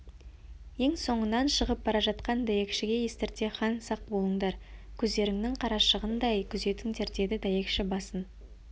ең соңынан шығып бара жатқан дәйекшіге естірте хан сақ болыңдар көздеріңнің қарашығындай күзетіңдер деді дәйекші басын